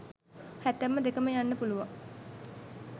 හැතැප්ම දෙකම යන්න පුළුවං